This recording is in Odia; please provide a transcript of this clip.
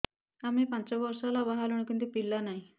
ଆମେ ପାଞ୍ଚ ବର୍ଷ ହେଲା ବାହା ହେଲୁଣି କିନ୍ତୁ ପିଲା ନାହିଁ